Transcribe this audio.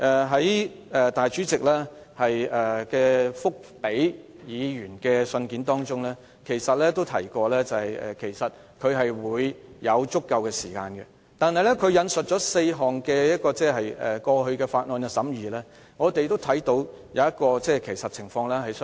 在立法會主席回覆議員的信件中，他提到會給予足夠時間，但他引述的過去4項法案的審議，我們都看到各有不同的情況。